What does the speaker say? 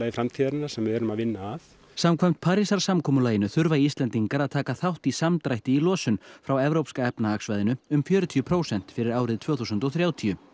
framtíðarinnar sem við erum að vinna að samkvæmt Parísarsamkomulaginu þurfa Íslendingar að taka þátt í samdrætti í losun frá Evrópska efnahagssvæðinu um fjörutíu prósent fyrir árið tvö þúsund og þrjátíu